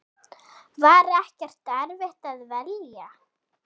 Var ekkert erfitt að velja?